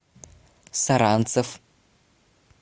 саранцев